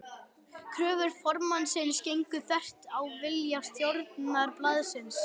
Kröfur formannsins gengu þvert á vilja stjórnar blaðsins.